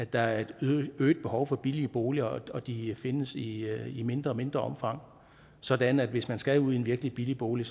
der er et øget behov for billige boliger og de findes i mindre og mindre omfang sådan at hvis man skal ud i en virkelig billig bolig